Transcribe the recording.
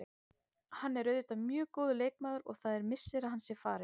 Hann er auðvitað mjög góður leikmaður og það er missir að hann sé farinn.